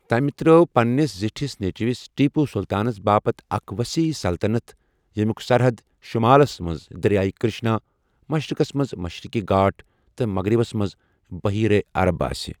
تمہِ تر٘ٲو پننِس زِٹھِس نیچوِس ٹیپو سلطانس باپت اکھ وصیح سلطنت یمٕٗوک سَرحَد شمالس منٛز دریائے کرشنا، مشرقس منٛز مشرقی گھاٹ تہٕ مغربس منٛز بحیرہ عرب ٲسہِ ۔